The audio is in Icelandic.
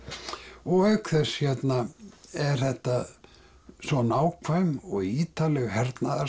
og auk þess hérna er þetta svo nákvæm og ítarleg hernaðarsaga